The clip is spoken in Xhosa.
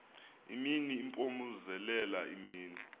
imini impompozelela imini